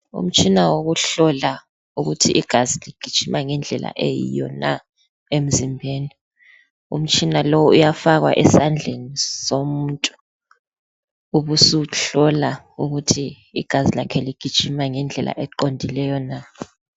Umtshina wokuhlola ukuthi igazi ligijima ngendlela eyiwo na emzimbeni. Umtshina lo uyafakwa esandleni somuntu ubusuhlola ukuthi igazi lakhe ligijima ngendlela eqondileyo na.